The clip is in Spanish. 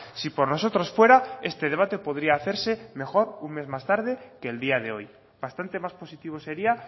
si por nosotros fuera este debate podría hacerse mejor un mes más tarde que el día de hoy bastante más positivo sería